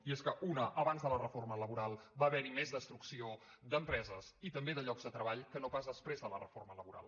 i és que una abans de la reforma laboral va haver hi més destrucció d’empreses i també de llocs de treball que no pas després de la reforma laboral